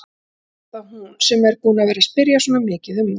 Er það þá hún sem er búin að vera að spyrja svona mikið um hann?